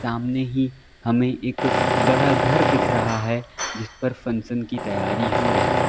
सामने ही हमें एक बड़ा घर दिख रहा है जिस पर फंक्शन की तैयारी हो रही है।